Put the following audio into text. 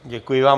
Děkuji vám.